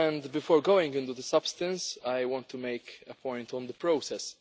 Before going into the substance I want to make a point on the process.